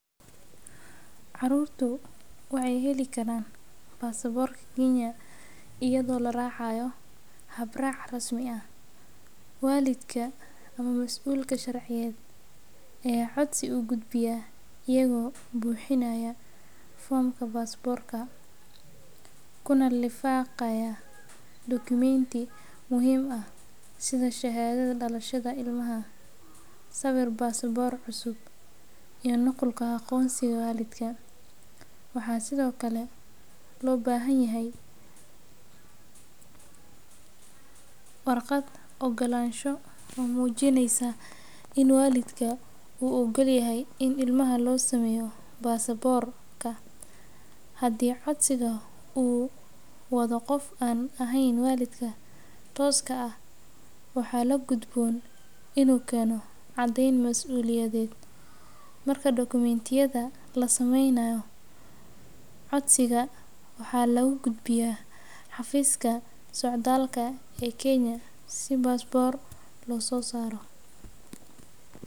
Carurtu waxee heli karan basaborka kenya iyago la racayo hab rac muhiim ah walidka ama masulka sharciyeed ee codsi u guud biya iyago buxinaya fomka basaborka, kuna lifaqaya document ti muhiim ah sitha shahaadada dalashaada ilmaha sawir basabor cusub iyo nukulka aqonsiga walidka waxaa sithokale lo bahan yahay warqaad mujineysa ogolashaha walidka u ogol yahay in ilmaha lo sameyo basaborka hadii codsiga wadho qof an walidka ahen waxaa lagudbon in u keno caden, marka document yadha lasameynayo codsiga waxaa lagu gudbiyaa xafiska socdalka ee kenya si basabor loso sara.